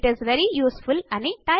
IT is very useful